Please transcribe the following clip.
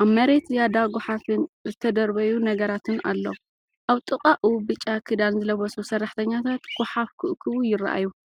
ኣብ መሬት ዝያዳ ጎሓፍን ዝተደርበዩ ነገራትን ኣሎ። ኣብ ጥቓኡ ብጫ ክዳን ዝለበሱ ሰራሕተኛታት ጐሓፍ ክእክቡ ይረኣዩ።